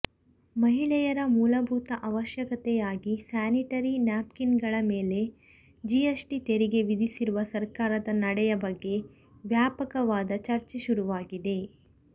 ಮಹಿಳೆಯರ ಮೂಲಭೂತ ಅವಶ್ಯಕತೆಯಾಗಿ ಸ್ಯಾನಿಟರಿ ನ್ಯಾಪ್ಕಿನ್ಗಳ ಮೇಲೆ ಜಿಎಸ್ಟಿ ತೆರಿಗೆ ವಿಧಿಸಿರುವ ಸರ್ಕಾರದ ನಡೆಯ ಬಗ್ಗೆ ವ್ಯಾಪಕವಾದ ಚರ್ಚೆ ಶುರುವಾಗಿದೆ